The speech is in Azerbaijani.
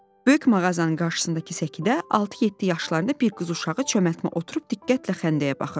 Böyük mağazanın qarşısındakı səkidə altı-yeddi yaşlarında bir qız uşağı çömbəlmə oturub diqqətlə xəndəyə baxırdı.